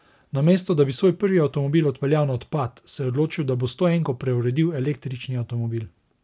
Namesto da bi svoj prvi avtomobil odpeljal na odpad, se je odločil, da bo stoenko preuredil v električni avtomobil.